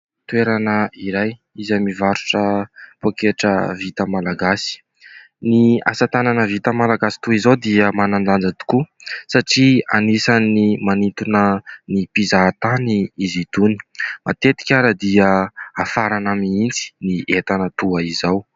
Toerana iray izay mivarotra pôketra vita malagasy. Ny asa tanana vita malagasy toy izao dia manan-danja tokoa satria anisan'ny manintona ny mpizaha tany izy itony. Matetika ary dia afarana mihitsy ny entana toy izao.